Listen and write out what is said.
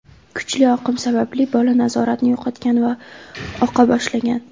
Kuchli oqim sababli bola nazoratni yo‘qotgan va oqa boshlagan.